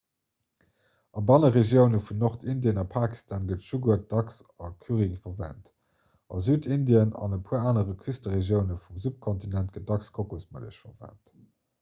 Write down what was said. a banneregioune vun nordindien a pakistan gëtt jugurt dacks a currye verwent a südindien an e puer anere küsteregioune vum subkontinent gëtt dacks kokosmëllech verwent